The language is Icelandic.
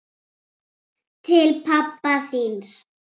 Til pabba þíns.